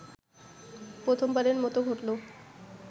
প্রথমবারের মতো ঘটলো